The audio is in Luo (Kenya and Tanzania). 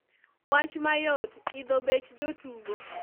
Wach mayot, idho bech jotugo.